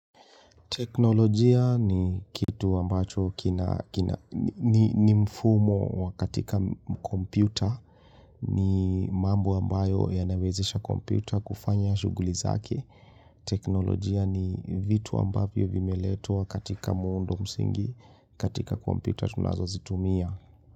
Teknolojia ni kitu ambacho ni mfumo wa katika kompyuta, ni mambu ambayo ya nawezesha kompyuta kufanya shughuli zake. Teknolojia ni vitu ambavyo vimeletwa katika muundo msingi, katika kompyuta tunazozitumia.